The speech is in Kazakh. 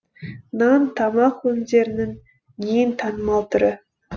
нан тамақ өнімдерінің ең танымал түрі